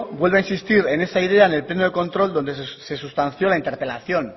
vuelve a insistir en esa idea en el pleno de control donde se sustanció la interpelación